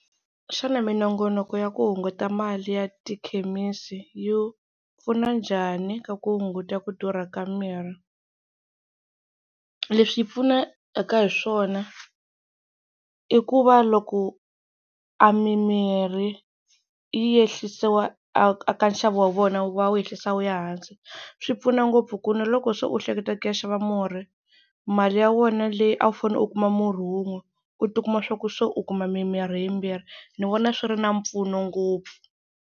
Xana minongonoko ya ku hunguta mali ya tikhemisi yi pfuna njhani ka ku hunguta ku durha ka mirhi. Leswi yi pfunaka hi swona i ku va loko a mimirhi yi ehlisiwa a ka nxavo wa vona va wu ehlisa wu ya hansi, swi pfuna ngopfu ku na loko se u hleketa ku ya xava murhi mali ya wena leyi a wu fanele u kuma murhi wun'we u tikuma swa ku se u kuma mimirhi yimbirhi ni vona swi ri na mpfuno ngopfu.